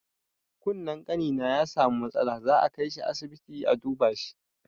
Kunnen ƙanina ya samu matsala, za a kaishi asibiti a duba shi.